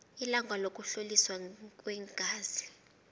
ilanga lokuhloliswa kweengazi